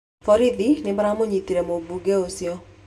Borithi nĩ maramũnyitire mũmbunge ũcio.